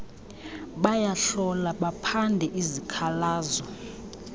bayahlola baphande izikhalazo